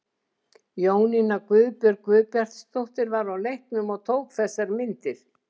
Jónína Guðbjörg Guðbjartsdóttir var á leiknum og tók þessar myndir.